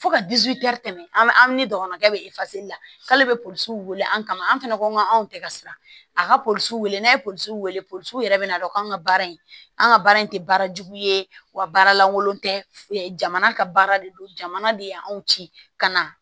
Fo ka tɛmɛ an ni dɔgɔnɔkɛ bɛ la k'ale bɛ polisiw weele an kama an fana ko k'an tɛ ka siran a ka posɔn n'a ye polisiw wele polisiw yɛrɛ bɛna dɔn k'an ka baara in an ka baara in tɛ baara jugu ye wa baara lankolon tɛ jamana ka baara de don jamana de y' anw ci ka na